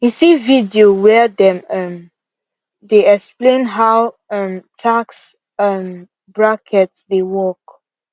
he see video where them um dey explain how um tax um brackets dey work